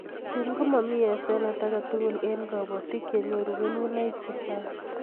Tun komamie hasenet agetugul eng' kabatik ye nyoru kelunoik chechang